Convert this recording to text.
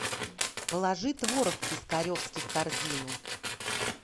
положи творог пискаревский в корзину